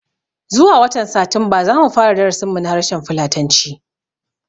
Zuwa watan Satumba zamu fara darasin mu na harshen fulatanci